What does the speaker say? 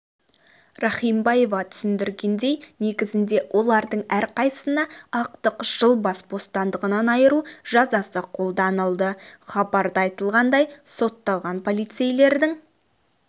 рахимбаева түсіндіргендей негізінде олардың әрқайсына ақтық жыл бас бостандығынан айыру жазасы қолданылды хабарда айтылғандай сотталған полицейлердің